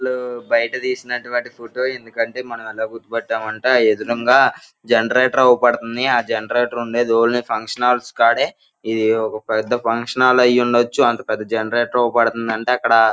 బయట తీసినటువంటి ఫోటో ఎందుకంటే మనం ఎలా గుర్తుపట్టమంటే ఆ ఎదురంగ జెనెరేటర్ ఆవుపాడతాంది .ఆ జెనెరేటర్ ఉండేది ఓన్లీ ఫంక్షన్ హాల్స్ కాడే .ఇది ఒక పెద్ద ఫంక్షన్ హాల్ అయ్యుండొచ్చు అంత పెద్ద జెనెరేటర్ అవుపడతందంటే అక్కడ--